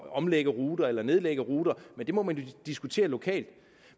at omlægge ruter eller nedlægge ruter men det må man jo diskutere lokalt